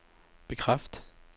bekræft